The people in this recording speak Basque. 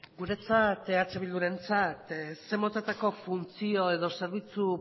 guretzat eh bildurentzat zein motatako funtzio edo zerbitzu